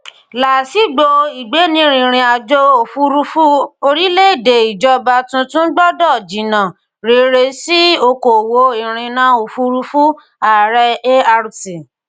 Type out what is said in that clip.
laasigbo igbeniririnajo ofurufu orilẹede ijọba tuntun gbọdọ jinna rere si okoowo irinna ofurufu aarẹ ART